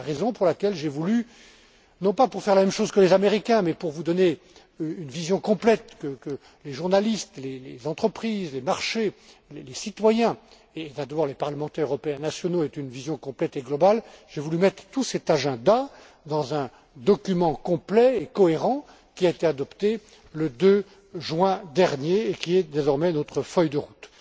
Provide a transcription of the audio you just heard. du G20. C'est la raison pour laquelle j'ai voulu, non pas pour faire la même chose que les Américains, mais pour vous donner une vision complète, pour que les journalistes, les entreprises, les marchés, les citoyens et les parlementaires européens et nationaux aient une vision complète et globale, mettre tout cet agenda dans un document complet et cohérent, qui a été adopté le 2 juin dernier et qui est désormais notre feuille de route.